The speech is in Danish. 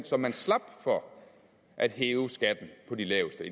så man slap for at hæve skatten på de laveste